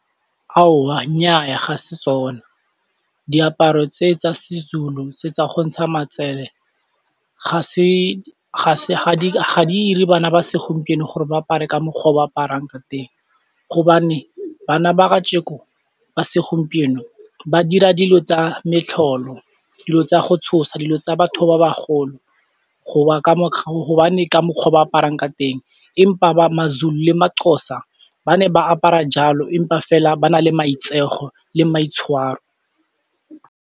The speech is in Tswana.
Aowa, nnyaa ga se tsona diaparo tse tsa seZulu tse tsa go ntsha matsele ga se, ga se ga di ire bana ba segompieno gore ba apare ka mokgwa o ba aparang ka teng, hobane bana ba kajeko ba segompieno ba dira dilo tsa metlholo, dilo tsa go tshosa, dilo tsa batho ba bagolo go ba ka hobane ka mokgwa ba aparang ka teng empa ba maZulu le maXhosa ba ne ba apara jalo empa fela ba na le maitseo le maitshwaro.